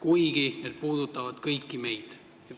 Ometi need puudutavad kõiki meid.